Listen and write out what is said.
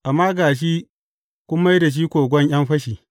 Amma ga shi kun mai da shi kogon ’yan fashi.’